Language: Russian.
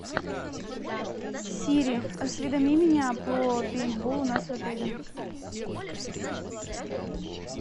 сири осведоми меня про пейнтбол у нас в отеле